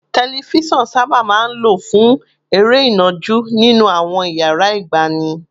Tẹlifíṣọ̀n sábà máa ń lò fún eré ìnàjú nínú àwọn iyàrá ìgbàanì